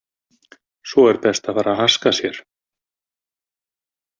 Svo er best að fara haska sér.